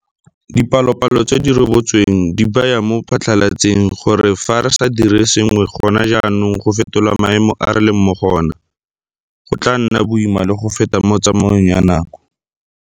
Dipalopalo tse di rebotsweng di baya mo phatlalatseng gore fa re sa dire sengwe gona jaanong go fetola maemo a re leng mo go ona, go tla nna boima le go feta mo tsamaong ya nako.